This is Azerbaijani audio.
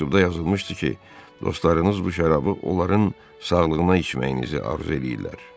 Məktubda yazılmışdı ki, dostlarınız bu şərabı onların sağlığına içməyinizi arzu eləyirlər.